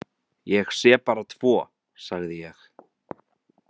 Ég sé bara tvo, sagði ég.